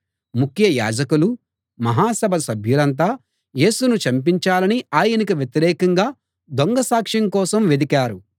ముఖ్య యాజకులు మహాసభ సభ్యులంతా యేసును చంపించాలని ఆయనకు వ్యతిరేకంగా దొంగసాక్ష్యం కోసం వెదికారు